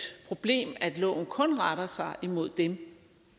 problem at loven kun retter sig imod dem